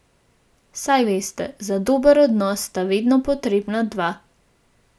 Ima približno dva tisoč prebivalcev.